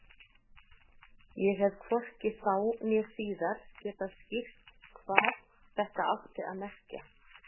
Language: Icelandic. Ég hef hvorki þá né síðar getað skýrt hvað þetta átti að merkja.